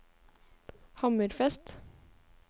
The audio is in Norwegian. Hammerfest